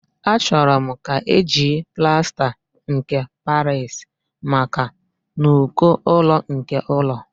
Achọrọ m ka eji plasta nke Paris maka n'uko ụlọ nke ụlọ